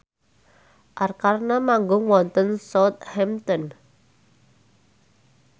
Arkarna manggung wonten Southampton